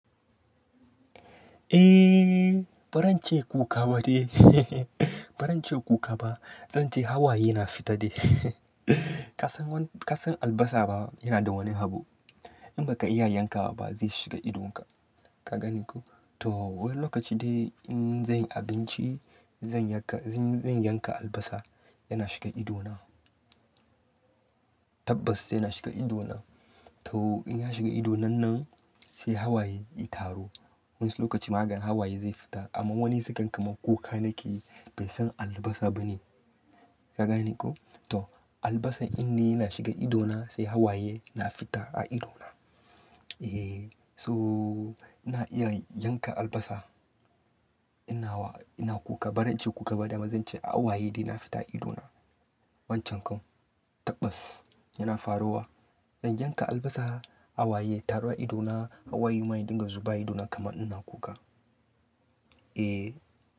Eh, ba ran ce kuka ba de. Ba ran ce kuka ba, zan ce hawaye na fita ne. Ka san, ka san albasa ba, yana da wani abu. In ba ka iya yanka wa ba zai shiga idonka. Ka gane ko? To, wani lokaci dai in zan yi abinci, zan yanka, zan yanka albasa, yana shiga idona. Tabbas yana shiga idona. To, in ya shiga ido nan nan, sai hawaye ya taru. Wa'insu lokaci ma kaga hawaye zai fita, amma wani zai gan kaman kuka nake yi, bai san albasa ba ne. Ka gani ko? To, albasa in dai yana shiga idona sai hawaye na fita a idona. Eh, so ina iya yanka albasa. Ina wa, ina kuka. Ba ran ce kuka ba dai, amma zan ce hawaye dai na fita a idona. Wancan kam, tabbas yana faruwa, zan yanka albasa, hawaye ya taru a idona, Hawaye ma ya dinga zuba a idona kaman ina kuka. Eh,